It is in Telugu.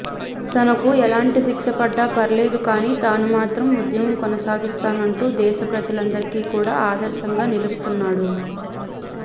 తనకు ఎలాంటి శిక్ష పడ్డా పర్వాలేదు కాని తాను మాత్రం ఉద్యమం కొనసాగిస్తానంటూ దేశ ప్రజలందరికి కూడా ఆదర్శంగా నిలుస్తున్నాడు